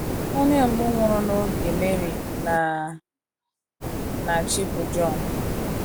Onye mbụ nwụrụ n’oge Mary na - na - achị bụ Jon.